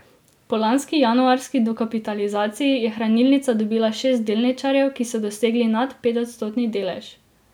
Po lanski januarski dokapitalizaciji je hranilnica dobila šest delničarjev, ki so dosegli nad petodstotni delež.